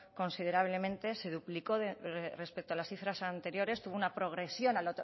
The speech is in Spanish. considerablemente se duplicó respecto a las cifras anteriores tuvo una progresión a